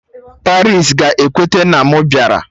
Paris ga-ekweta na mụ bịara!